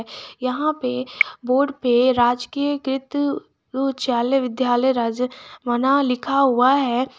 यहां पे बोर्ड पे राजकीय कृत उच्चालय विद्यालय राज्य बना लिखा हुआ है।